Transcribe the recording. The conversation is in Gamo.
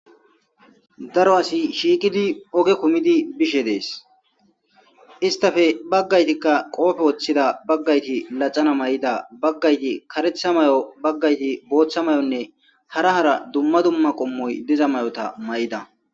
Daro asi shiikidi oge kumidi bishe dees istafe baggaytikka qoofe woththida baggayti laxana may7ida baggayti karetha may'o baggayti booththa mayonne hara hara dumma dumma qommoy diza may7ota may;ida.